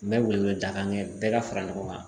N bɛ wele wele daga kɛ bɛɛ ka fara ɲɔgɔn kan